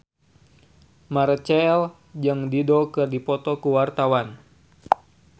Marchell jeung Dido keur dipoto ku wartawan